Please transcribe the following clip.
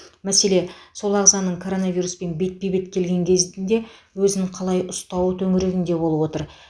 мәселе сол ағзаның коронавируспен бетпе бет келген кезінде өзін қалай ұстауы төңірегінде болып отыр